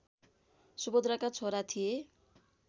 सुभद्राका छोरा थिए